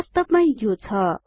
वास्तबमै यो छ